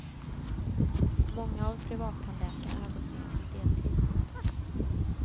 Många av privattandläkarna har gått ner till deltid.